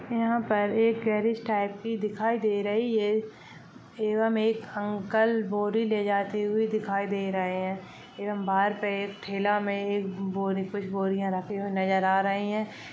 यहाँ पर एक गैरेज टाइप की दिखाई दे रही है एवं एक अंकल बोरी ले जाते हुए दिखाई दे रहे है एवं बाहर पे एक ठेला में एक बोरी कुछ बोरियां रखी हुए नजर आ रही है।